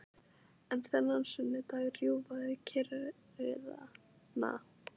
En þennan sunnudag rjúfa þau kyrrðina.